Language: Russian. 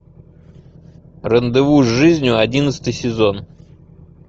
рандеву с жизнью одиннадцатый сезон